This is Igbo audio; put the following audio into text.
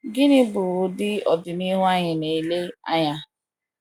gini bụ ụdị Ọdịnihu anyị na - ele anya?